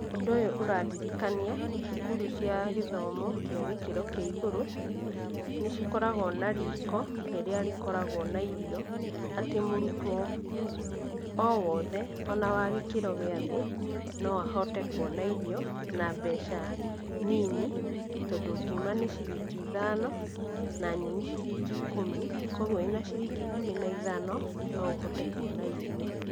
Ũndũ ũyũ ũrandirikania, cukuru cia gĩthomo cia gĩkĩro kĩa igũrũ nĩ cikoragwo na riko rĩrĩa rĩkoragwo na irio, atĩ mũrutwo o wothe o na wagĩkĩro gĩa thĩ no ahote kuona irio na mbeca nini, tondũ ngima nĩ ciringi ithano na nyeni ciringi ikũmi, kogwo wĩna ciringi ikũmi na ithano no ũhote kuona irio.